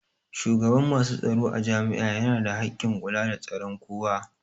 Shugaban masu tsaro a jami'a yana da hakkin kula da tsaron kowa